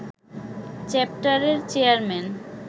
চ্যাপ্টারের চেয়ারম্যান